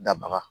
Dabaga